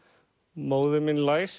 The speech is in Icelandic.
móðir mín læsi